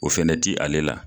O fɛnɛ ti ale la